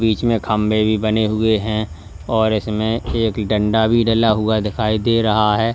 बीच में खंभे भी बने हुए हैं और इसमें एक डंडा भी डला हुआ दिखाई दे रहा है।